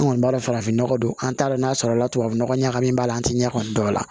An kɔni b'a farafin nɔgɔ don an t'a dɔn n'a sɔrɔ la tubabunɔgɔ ɲagamin a la an tɛ ɲɛ kɔni dɔn a la